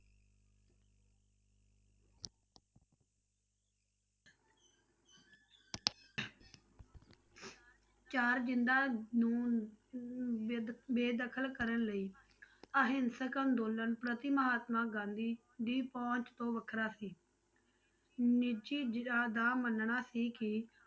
ਚਾਰ ਜ਼ਿੰਦਾ ਨੂੰ ਅਮ ਬੇਦਖ~ ਬੇਦਖ਼ਲ ਕਰਨ ਲਈ ਅਹਿੰਸਕ ਅੰਦੋਲਨ ਪ੍ਰਤੀ ਮਹਾਤਮਾ ਗਾਂਧੀ ਦੀ ਪਹੁੰਚ ਤੋਂ ਵੱਖਰਾ ਸੀ ਨਿੱਜੀ ਦਾ ਮੰਨਣਾ ਸੀ ਕਿ